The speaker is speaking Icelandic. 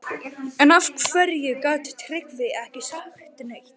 En af hverju gat Tryggvi ekki sagt neitt?